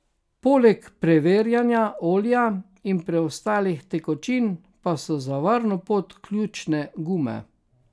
Poleg preverjanja olja in preostalih tekočin pa so za varno pot ključne gume.